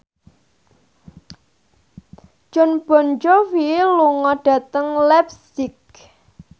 Jon Bon Jovi lunga dhateng leipzig